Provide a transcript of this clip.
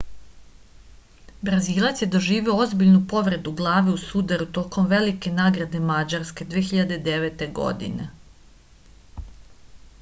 brazilac je doživeo ozbiljnu povredu glave u sudaru tokom velike nagrade mađarske 2009. godine